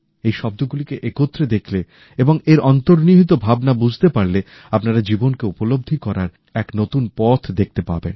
এই শব্দগুলিকে একত্রে দেখলে এবং এর অন্তর্নিহিত ভাবনা বুঝতে পারলে আপনারা জীবনকে উপলব্ধি করার এক নতুন পথ দেখতে পাবেন